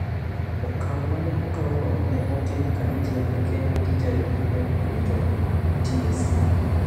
Okang' ma ne okawno ne otim kanyachiel gi Kenya Teacher Recruitment Commission (TSC).